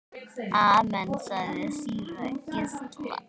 Amen, sagði síra Gísli.